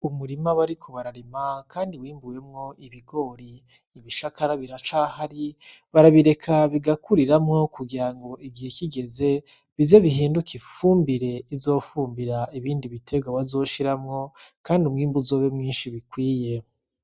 Umurima bariko bararima kandi bimbuyemwo ibigori ibishakara biracahari barabireka bigakuriramwo kugira ngo igihe kigeze bize bihinduke ifumbire rizofumbira ibindi bitegwa bazoshiramwo kandi umwimbu uzobe mwinshi bikwiye.